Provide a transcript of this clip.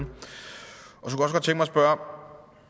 spørge